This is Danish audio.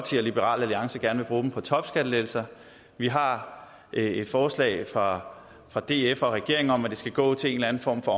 liberal alliance gerne vil bruge dem på topskattelettelser vi har et forslag fra fra df og regeringen om at de skal gå til en eller anden form for